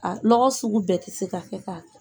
A, lɔgɔ sugu bɛɛ tɛ se ka kɛ ka kɛ